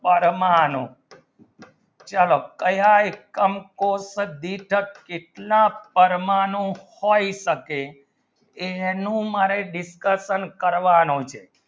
પરમાણુ ચલો કયાં કામ કો જે ભી ટાર કેટલા પરમાણુ હોય શકે એનું મારે discussion કરવાનું છે